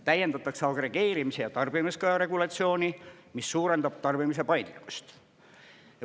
Täiendatakse agregeerimise ja tarbimiskaja regulatsiooni, mis suurendab tarbimise paindlikkust.